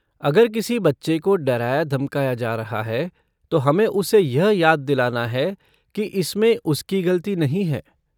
अगर किसी बच्चे को डराया धमकाया जा रहा है तो हमें उसे यह याद दिलाना है कि इसमें उसकी गलती नहीं है।